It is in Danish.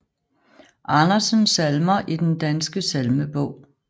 Andersen Salmer i Den Danske Salmebog